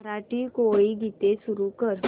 मराठी कोळी गीते सुरू कर